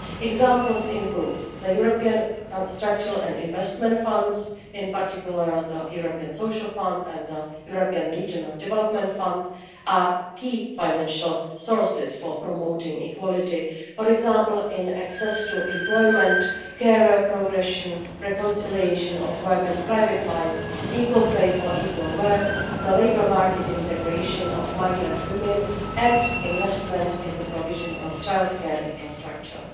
Examples include the European structural and investment funds, and in particular the European Social Fund and the European Regional Development Fund, which are key financial sources for promoting equality, for example in access to employment, career progression, reconciliation of work and private life, equal pay for equal work, labour market integration of migrant women, and investment in the provision of childcare infrastructure.